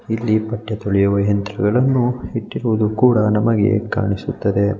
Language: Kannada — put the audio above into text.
ಇಲ್ಲಿ ಬಟ್ಟೆ ತೊಳಿಯುವ ಯಂತ್ರಗಳನ್ನು ಇಟ್ಟಿರುವುದು ಕೂಡ ನಮಗೆ ಕಾಣಿಸುತ್ತದೆ.